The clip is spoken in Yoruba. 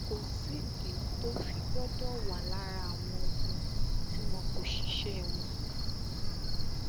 kò sídìí tó fi gbọdọ wà lára àwọn ọmọ tí wọn kó ṣiṣẹ wọn